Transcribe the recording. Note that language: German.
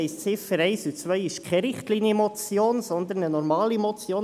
Das heisst, die Ziffer 2 ist keine Richtlinienmotion, sondern eine normale Motion.